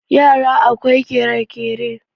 yara akwai kere-kere